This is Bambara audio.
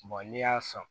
n'i y'a sɔn